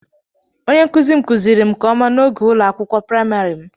Onye nkuzi m kuziri m nke ọma n'oge ụlọ akwụkwọ praịmarị m